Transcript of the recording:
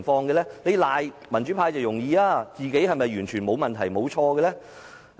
指責民主派容易，但自己是否完全沒有問題、沒有錯誤呢？